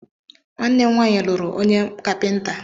Nwanne m nwaanyị lụrụ onye kapịnta.